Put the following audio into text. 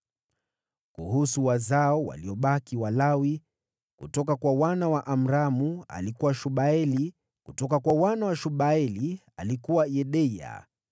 Kuhusu wazao wa Lawi waliobaki: Kutoka kwa wana wa Amramu: alikuwa Shubaeli; kutoka kwa wana wa Shubaeli: alikuwa Yedeya.